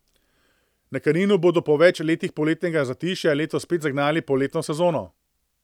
Na Kaninu bodo po več letih poletnega zatišja letos spet zagnali poletno sezono.